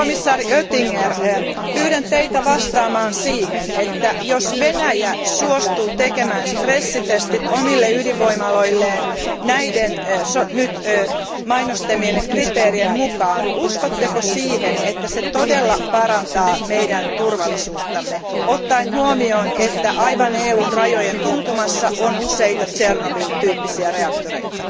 komission jäsen Oettinger, pyydän Teitä vastaamaan siihen, että jos Venäjä suostuu tekemään stressitestit omille ydinvoimaloilleen näiden nyt mainostamieni kriteerien mukaan, uskotteko siihen, että se todella parantaa meidän turvallisuuttamme ottaen huomioon, että aivan EUn rajojen tuntumassa on useita Tšernobyl tyyppisiä reaktoreita?